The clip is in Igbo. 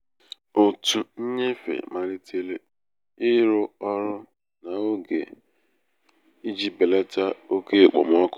òtù nnyefe malitere ịrụ ọrụ um n'oge n'oge iji belata oke okpomọkụ